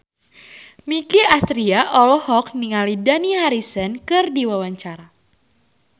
Nicky Astria olohok ningali Dani Harrison keur diwawancara